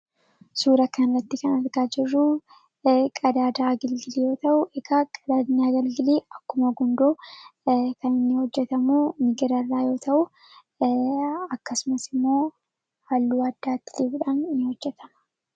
Suuraa kana irratti kan argaa jirru qadaada agalgilii yemmuu ta'u, egaa qadaadni agalgilii akkuma gundoo kan inni hojjetamu migira irraa yoo ta'u, akkasumas ammoo haalluu addaa itti dibuudhaan ni hojjetama.